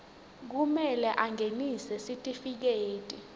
kumele angenise sitifiketi